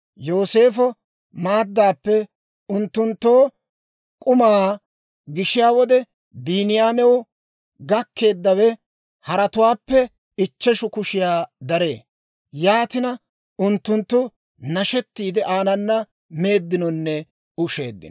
Yooseefo maaddaappe unttunttoo k'umaa gishiyaa wode, Biiniyaamew gakkeeddawe haratuwaappe ichcheshu kushiyaa daree; yaatina unttunttu nashettiidde aanana meeddinonne usheeddino.